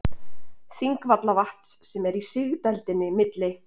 Þingvallavatns sem er í sigdældinni milli